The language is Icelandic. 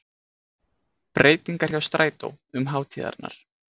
Breytingar hjá strætó um hátíðarnar